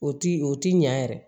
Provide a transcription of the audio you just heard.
O ti o ti ɲan yɛrɛ